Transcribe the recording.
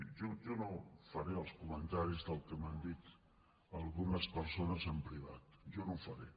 jo no faré els comentaris del que m’han dit algunes persones en privat jo no ho faré